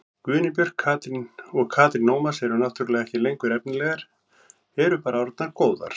Guðný Björk og Katrín Ómars eru náttúrulega ekki lengur efnilegar, eru bara orðnar góðar.